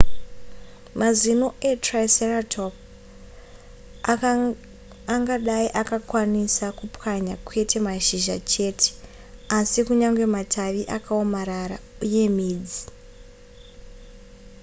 mazino etriceratops angadai akakwanisa kupwanya kwete mashizha cheteasi kunyange matavi akaomarara uye midzi